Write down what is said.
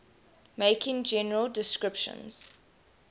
making general descriptions